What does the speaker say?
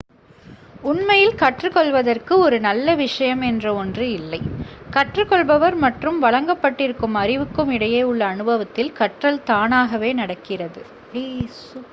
உண்மையில் கற்றுக்கொள்வதற்கு ஒரு நல்ல விஷயம் என்ற ஒன்று இல்லை கற்றுக்கொள்பவர் மற்றும் வழங்கப்பட்டிருக்கும் அறிவுக்கும் இடையே உள்ள அனுபவத்தில் கற்றல் தானாகவே நடக்கிறது